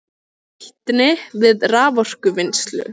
Nýtni við raforkuvinnslu